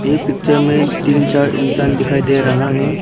ये पिक्चर में तीन चार इंसान दिखाई दे रहा है।